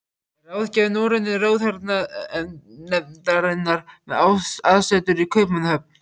Er ráðgjafi Norrænu ráðherranefndarinnar, með aðsetur í Kaupmannahöfn.